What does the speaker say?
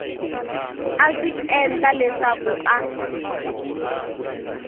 a swi endla leswaku a